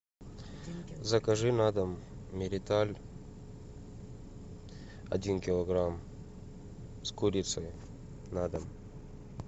закажи на дом мериталь один килограмм с курицей на дом